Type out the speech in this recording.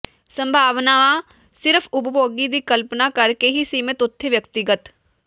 ਸੰਭਾਵਨਾ ਸਿਰਫ਼ ਉਪਭੋਗੀ ਦੀ ਕਲਪਨਾ ਕਰ ਕੇ ਹੀ ਸੀਮਿਤ ਉੱਥੇ ਵਿਅਕਤੀਗਤ